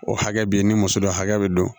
O hakɛ be yen ni muso dɔ hakɛ be don